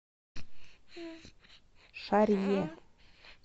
шарье